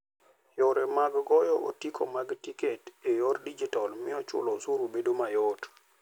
Yore mag goyo otiko mag tiketi e yor digital miyo chulo osuru bedo mayot.